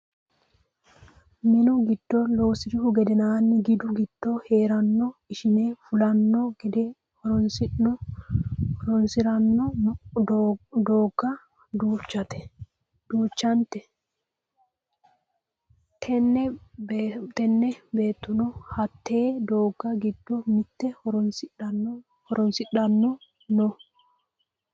Mannu gide loosirihu gedeenanni gidu giddo heerano ishini fulanno gede horonsiranno doogga duuchante. Tini beettono hatte doogga giddo mitte horonsidhanno no.